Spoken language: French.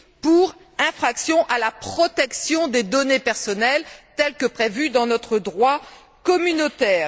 pour infraction à la protection des données personnelles, tel que prévu dans notre droit communautaire?